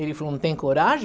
Ele falou, não tem coragem?